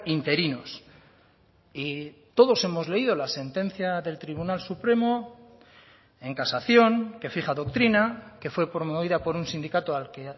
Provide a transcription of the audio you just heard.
interinos y todos hemos leído la sentencia del tribunal supremo en casación que fija doctrina que fue promovida por un sindicato al que